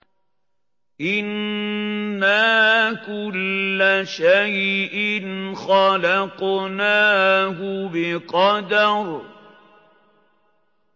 إِنَّا كُلَّ شَيْءٍ خَلَقْنَاهُ بِقَدَرٍ